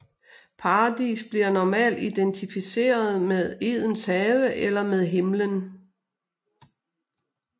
Paradis bliver normalt identificeret med Edens have eller med Himmelen